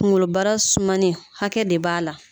Kungolobara sumali hakɛ de b'a la.